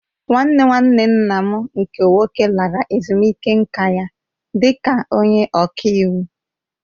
Nwanne nwanne nna m nke nwoke lara ezumike nká ka onye ọka iwu